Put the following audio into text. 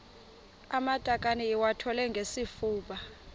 amatakane iwathwale ngesifuba